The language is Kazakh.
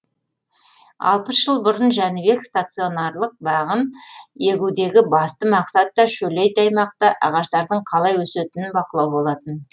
алпыс жыл бұрын жәнібек стационарлық бағын егудегі басты мақсат та шөлейт аймақта ағаштардың қалай өсетінін бақылау болатын